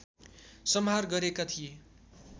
संहार गरेका थिए